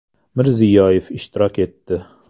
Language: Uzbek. Mirziyoyev ishtirok etdi.